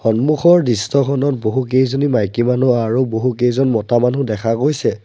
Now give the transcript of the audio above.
সন্মুখৰ দৃশ্যখনত বহুকেইজনী মাইকী মানুহ আৰু বহুকেইজন মতা মানুহ দেখা গৈছে।